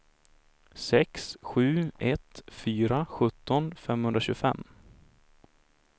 sex sju ett fyra sjutton femhundratjugofem